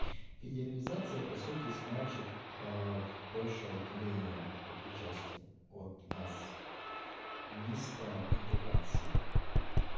федерализация по сути значит в большее отделение этой части от нас в место интеграции